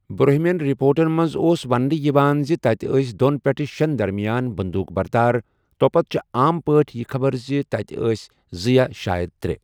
برٛونٛہہ مِٮ۪ن رپورٹَن منٛز اوس وننہٕ یِوان زِ تَتہِ ٲس دۄن پیٹھٕ شیٚن درمیان بندوق بردار، توٚپتہٕ چھِ عام پٲٹھۍ یہِ خبر زِ تَتہِ ٲس زٕ یا شاید ترٛےٚ۔